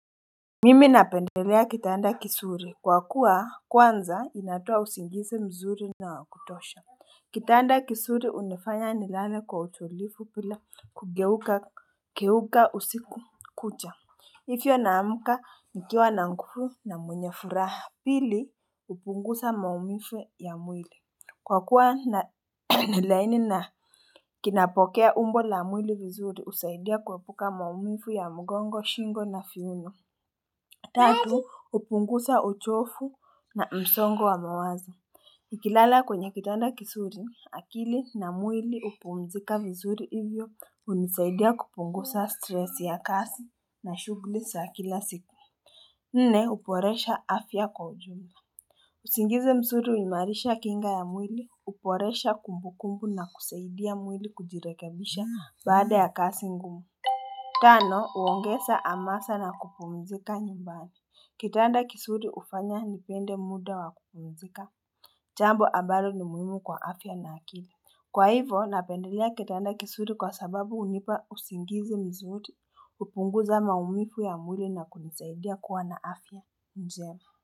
Mimi napendelea kitanda kizuri kwa kuwa kwanza inatoa usingizi mzuri na wa kutosha Kitanda kizuri hunifanya nilale kwa utulivu bila kugeuka usiku kucha hivyo naamka nikiwa na nguvu na mwenye furaha pili hupunguza maumivu ya mwili. Kwa kuwa ni laini na kinapokea umbo la mwili vizuri husaidia kuepuka maumivu ya mgongo, shingo na viuno Tatu, hupunguza uchofu na msongo wa mawazo. Nikilala kwenye kitanda kizuri, akili na mwili hupumzika vizuri hivyo hunisaidia kupunguza stresi ya kazi na shughuli za kila siku. Nne, uboresha afya kwa ujumla. Usingizi mzuri huimarisha kinga ya mwili, uboresha kumbu kumbu na kusaidia mwili kujirekebisha baada ya kazi ngumu. Tano, huongeza amasa na kupumzika nyumbani. Kitanda kizuri hufanya nipende muda wa kupumzika, jambo ambalo ni muhimu kwa afya na akili. Kwa hivo, napendelea kitanda kizuri kwa sababu hunipa usingizi mzuri, hupunguza maumivu ya mwili na kunisaidia kuwa na afya njema.